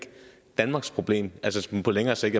danmarks problem altså på længere sigt